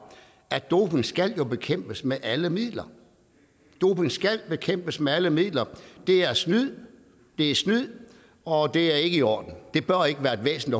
doping jo skal bekæmpes med alle midler doping skal bekæmpes med alle midler det er snyd det er snyd og det er ikke i orden det bør ikke være et væsen